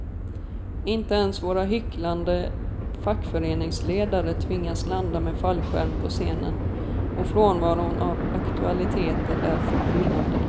Inte ens våra hycklande fackföreningsledare tvingas landa med fallskärm på scenen, och frånvaron av aktualiteter är förbryllande.